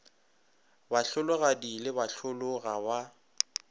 bahlologadi le bahlolo ga ba